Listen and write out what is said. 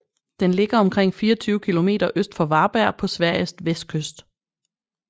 Den ligger omkring 24 km øst for Varberg på Sveriges vestkyst